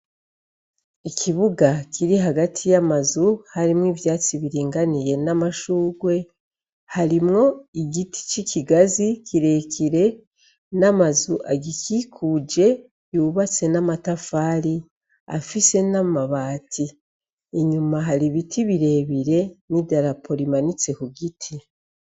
Ikibuga kiri hagati yamazu harimwo ivyatsi biringaniye namashurwe harimwo igiti c'ikigazi kirekire n'amazu agikikuje yubatse n'amatafari afise n'amabati inyuma hari ibiti birebire n'idarapo rimanitse ku giti.